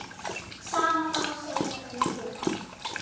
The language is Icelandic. Sama má segja um Gumma.